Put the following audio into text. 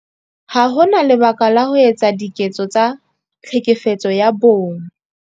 Ha ho na lebaka la ho etsa diketso tsa Tlhekefetso ya Bong.